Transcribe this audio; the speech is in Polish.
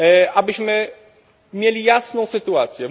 Abyśmy mieli jasną sytuację.